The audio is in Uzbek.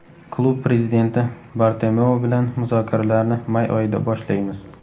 Klub prezidenti Bartomeu bilan muzokaralarni may oyida boshlaymiz.